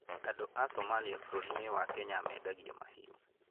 Andũ a Somalia bũrũri-inĩ wa Kenya mendagia mahiũ.